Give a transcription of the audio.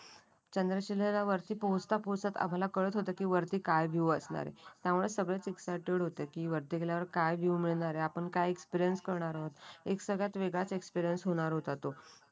चंद्रशिलेला वरती पोहोचता पोहोचता आम्हाला कळत होतं की वरती काय व्ह्यू असणार आहे. त्यामुळे सगळेच एक्साईटेड होते की वरती गेल्यावर काय का व्ह्यू मिळणार आहे काय एक्सप्लेन करणारा आहोत एक सगळ्यात वेगळाच एक्सप्लेन होणार होता तो